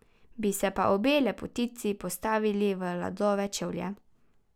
Bi se pa obe lepotici postavili v Ladove čevlje.